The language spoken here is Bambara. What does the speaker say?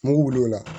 Mugu wulila